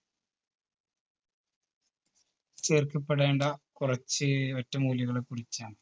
ചുരുക്കി പറയേണ്ട കുറിച്ച് ഒറ്റമൂലികളെ കുറിച്ചാണ്.